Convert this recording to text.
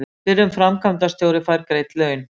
Fyrrum framkvæmdastjóri fær greidd laun